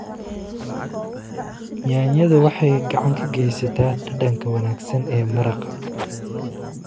Yaanyada waxay gacan ka geysataa dhadhanka wanaagsan ee maraq.